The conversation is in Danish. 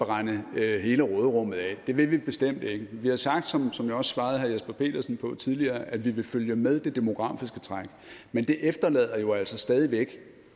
brænde hele råderummet af det vil vi bestemt ikke vi har sagt som jeg også svarede til herre jesper petersen tidligere at vi vil følge med det demografiske træk men det efterlader jo altså stadig væk